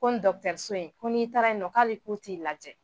Ko nin dɔkitɔriso in , ko n'i taara yen nɔ k'ali k'u t'i lajɛ.